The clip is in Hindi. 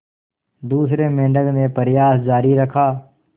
दूसरे मेंढक ने प्रयास जारी रखा